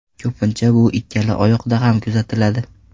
Ko‘pincha bu ikkala oyoqda ham kuzatiladi.